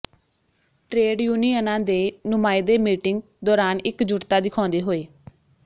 trade ਯੂਨੀਅਨਾਂ ਦੇ ਨੁਮਾਇੰਦੇ ਮੀਟਿੰਗ ਦੌਰਾਨ ਇਕਜੁੱਟਤਾ ਦਿਖਾਉਂਦੇ ਹੋਏ